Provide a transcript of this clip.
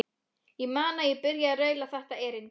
Ég man að ég byrjaði á að raula þetta erindi: